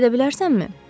İzah edə bilərsənmi?